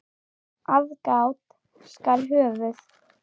Aðgát skal höfð.